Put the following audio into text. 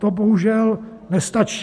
To bohužel nestačí.